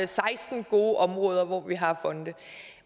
seksten gode områder hvor vi har fonde